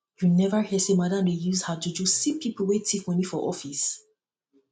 you neva hear sey madam dey use her juju see pipu wey tif moni for office